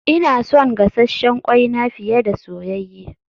Ina son gasasshen kwai na fiye da soyayye